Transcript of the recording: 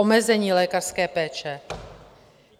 Omezení lékařské péče?